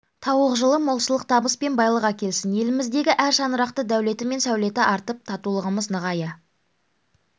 тауық жылы молшылық табыс пен байлық әкелсін еліміздегі әр шаңырақтың дәулеті мен сәулеті артып татулығымыз нығая